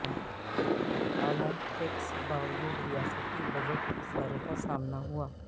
اعلی ٹیکس باوجود ریاستی بجٹ خسارے کا سامنا ہوا